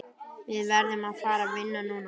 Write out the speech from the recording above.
Við verðum að fara vinna núna.